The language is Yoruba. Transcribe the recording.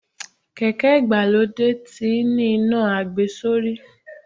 Kèké ìgbàlódé tí ń ní iná àgbesórí.